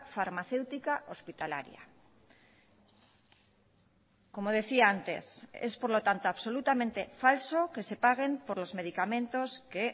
farmacéutica hospitalaria como decía antes es por lo tanto absolutamente falso que se paguen por los medicamentos que